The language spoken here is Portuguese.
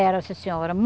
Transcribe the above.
Era, sim senhora.